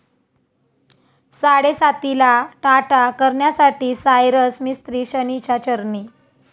साडेसातीला 'टाटा' करण्यासाठी सायरस मिस्त्री शनीच्या चरणी